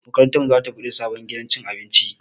Makarantar mu za ta buɗe sabon gidan cin abinci